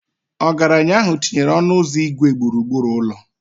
Ọgaranya ahụ tinyere ọnụ ụzọ igwe gburugburu ụlọ.